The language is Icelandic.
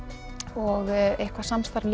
og eitthvað samstarf